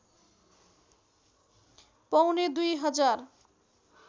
पौने दुई हजार